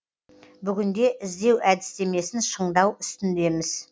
бүгінде іздеу әдістемесін шыңдау үстіндеміз